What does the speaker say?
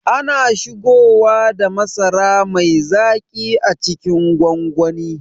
Ana shigoda masara mai zaƙi a cikin gwangwani